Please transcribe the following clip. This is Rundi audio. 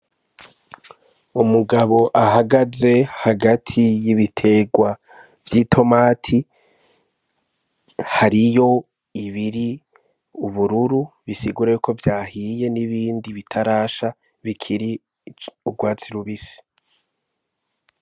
Umugabo ahagaze hagati y'ibiterwa vy'itomati, hariyo ibiri ubururu, bisigura yuko vyahiye, n'ibindi bitarasha bikiri urwatsi rubisi.